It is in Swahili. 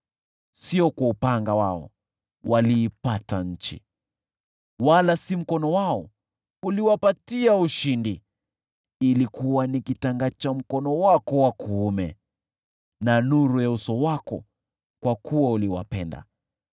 Sio kwa upanga wao waliipata nchi, wala si mkono wao uliwapatia ushindi; ilikuwa ni kitanga cha mkono wako wa kuume, na nuru ya uso wako, kwa kuwa uliwapenda.